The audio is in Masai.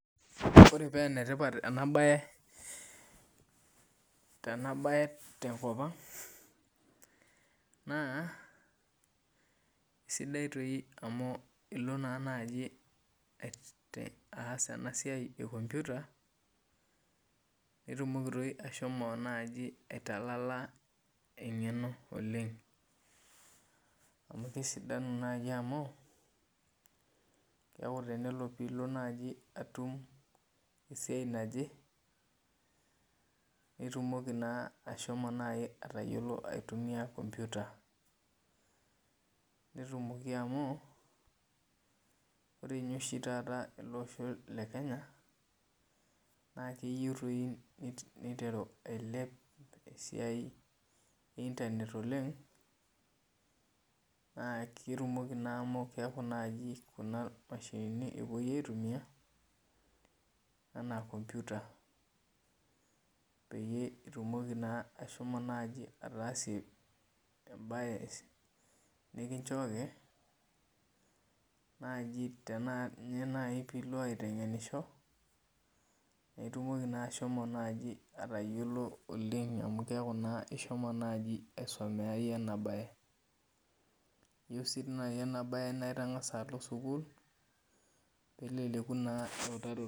Ore penetipat enabae tenkop aang na esidia amu ilo nai aas enasia ekomputa nitumoki ashomo aitalala engeno oleng na kesidanu amu neaku tenilo nai atum esiai naje nitumoki na ashomo aitunia enkomputa ntumoki amu ore oshi taata ele osho le kenya na keyieu niteru ailep esiai e internet Oleng na ketumoki nai meta kunamashinini epuoi aitumia anaa komputa pitumoki na ashomo nai ataasie embae nikinchooki ana pilo aitengenisho na itumoki ashomo atayiolo oleng amu keaku na ishomo naiyie aisomea inabae eyieu si enabae na itangasa alo sukul peleku naa eutaroto.